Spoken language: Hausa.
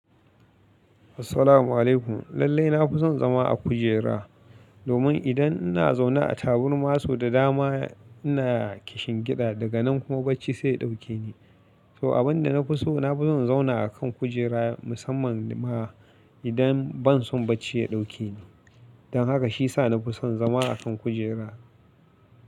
Assalamu alaikum. Lallai na fi son zama a kujera domin idan ina zaune a tabarma sau da dama ina kishingiɗa daga nan kuma bacci sai ya ɗauke ni. To abin da na fi so, na fi son in zauna a kan kujera musamman ma idan ban son bacci ya ɗauke ni. Don haka shi ya sa na fi son zama a kan kujera.